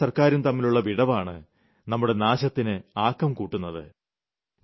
ജനങ്ങളും സർക്കാരും തമ്മിലുള്ള വിടവാണ് നമ്മുടെ നാശത്തിന് ആക്കം കൂട്ടുന്നത്